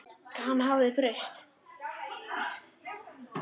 Hann hafði breyst.